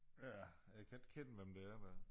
Ja jeg ikke kende hvem det er der